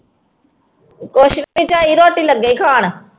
ਕੁਛ ਨੀ ਝਾਈ ਰੋਟੀ ਲੱਗੇ ਸੀ ਖਾਣ।